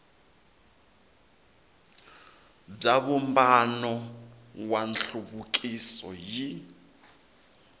bya vumbano wa nhluvukiso yi